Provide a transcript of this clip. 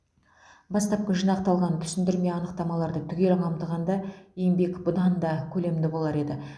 бастапқы жинақталған түсіндірме анықтамаларды түгел қамтығанда еңбек бұдан да көлемді болар еді